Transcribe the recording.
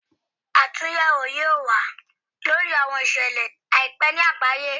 Atunyẹwo yoo wa lori awọn iṣẹlẹ aipẹ ni agbaye